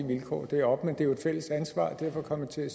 vilkår deroppe men det er jo et fælles ansvar og derfor kom jeg til at